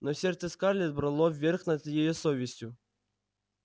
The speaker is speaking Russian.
но сердце скарлетт брало верх над её совестью